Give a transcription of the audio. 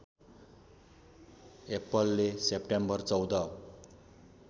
एप्पलले सेप्टेम्बर १४